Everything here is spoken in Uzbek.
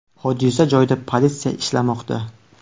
Hodisa joyida politsiya ishlamoqda.